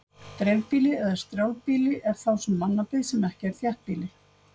Dreifbýli eða strjálbýli er þá sú mannabyggð sem ekki er þéttbýli.